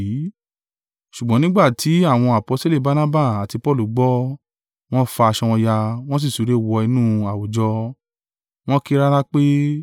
Ṣùgbọ́n nígbà tí àwọn aposteli Barnaba àti Paulu gbọ́, wọ́n fa aṣọ wọn ya, wọn sí súré wọ inú àwùjọ, wọn ń ké rara pé: